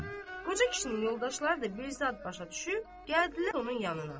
Qoca kişinin yoldaşları da bir zad başa düşüb, gəldilər onun yanına.